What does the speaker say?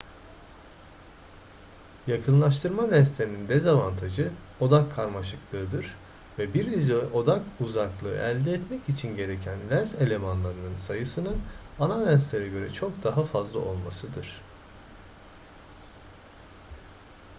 yakınlaştırma lenslerinin dezavantajı odak karmaşıklığıdır ve bir dizi odak uzaklığı elde etmek için gereken lens elemanlarının sayısının ana lenslere göre çok daha fazla olmasıdır